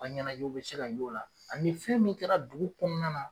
a ɲɛnajɛw bɛ se ka y'o la ani fɛn min kɛra dugu kɔnɔna na.